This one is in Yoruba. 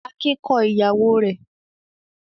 Akin kọ ìyàwó rẹ̀?